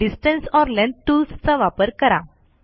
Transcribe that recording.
distance or length tools चा वापर करा